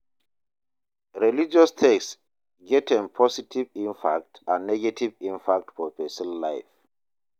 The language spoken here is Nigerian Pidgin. Religious text get im positive impact and negative impact for persin life